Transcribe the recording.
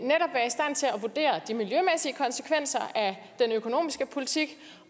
vurdere de miljømæssige konsekvenser af den økonomiske politik